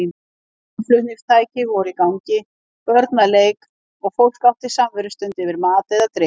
Hljómflutningstæki voru í gangi, börn að leik og fólk átti samverustund yfir mat eða drykk.